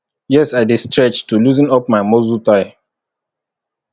yes i dey stretch to loosen up my muscle tigh